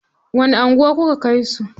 Wani anguwa kuka kai su?